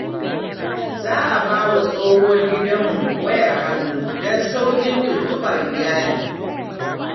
Za a ba wa tsohuwar gidanmu wayar hannu don sauƙin tuntuɓar iyali.